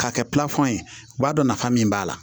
K'a kɛ ye u b'a dɔn nafa min b'a la